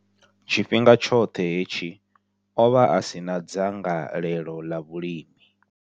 Tshifhinga tshoṱhe hetshi, o vha a si na dzangalelo ḽa vhulimi.